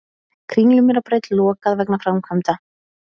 Kringlumýrarbraut lokað vegna framkvæmda